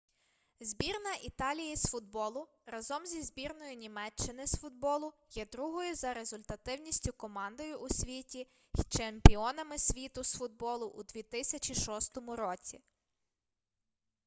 збірна італії з футболу разом зі збірною німеччини з футболу є другою за результативністю командою у світі й чемпіонами світу з футболу у 2006 році